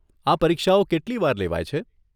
આ પરીક્ષાઓ કેટલી વાર લેવાય છે?